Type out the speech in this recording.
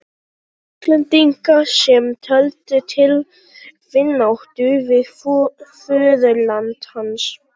Íslendinga, sem töldu til vináttu við föðurland hans.